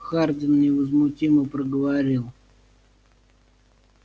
хардин невозмутимо проговорил